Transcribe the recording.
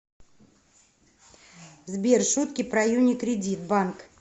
сбер шутки про юникредит банк